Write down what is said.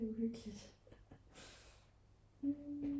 det er uhyggeligt